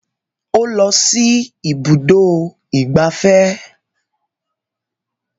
O lọ sí ibùdó ìgbafẹ́